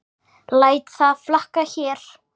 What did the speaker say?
Læt það flakka hér.